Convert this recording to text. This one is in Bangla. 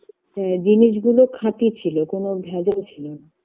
আ জিনিস গুলো খাঁটি ছিল কোনো ভেজাল ছিল না